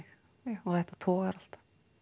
og þetta togar alltaf